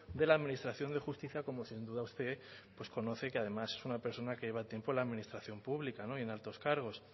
de la administración de justicia como sin duda usted pues conoce que además es una persona que lleva tiempo en la administración pública y en altos cargos